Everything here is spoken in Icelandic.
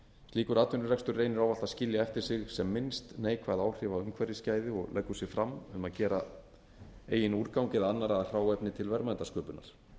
slíkur atvinnurekstur reynir ávallt að skilja eftir sig sem minnst neikvæð áhrif á umhverfisgæði og leggur sig fram um að gera eigin úrgang eða annarra að hráefni til verðmætasköpunar